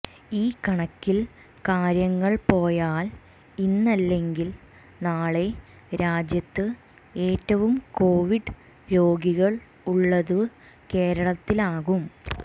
ഈ കണക്കിൽ കാര്യങ്ങൾ പോയാൽ ഇന്നല്ലെങ്കിൽ നാളെ രാജ്യത്ത് ഏറ്റവും കോവിഡ് രോഗികൾ ഉള്ളത് കേരളത്തിലാകും